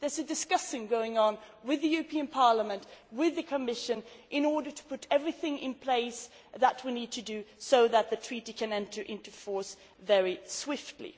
There are discussions going on with the European Parliament, with the Commission, in order to put everything in place that we need to do so that the Treaty can enter into force very swiftly.